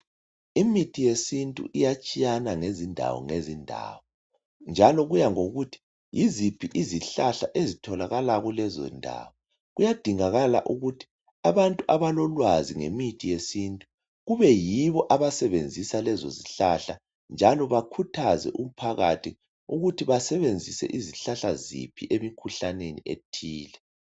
Imithi yesintu iyatshiyana ngezindawo ngezindawo njalo kuyangokuthi yiziphi izihlahla ezitholakala kuleyo ndawo kuyadingakala ukuthi abantu abalolwazi ngomuthi wesintu kubeyibo abasebenzisa lezo zihlahla njalo bakhuthaze abantu ukuthi basebenzise izihlahla ziphi kumkhuhlane othile.